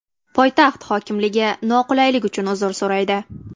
Poytaxt hokimligi noqulaylik uchun uzr so‘raydi.